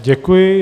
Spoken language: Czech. Děkuji.